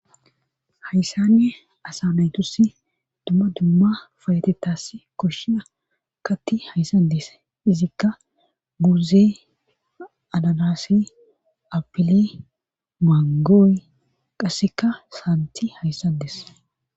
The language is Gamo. hayssanne asanaytusi dumma dumma fayatetas koshshiya katti hayssadees izikka guuze ananase apile mangooy qasseka saanti hayssades